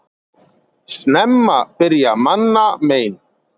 Snemma byrja manna mein.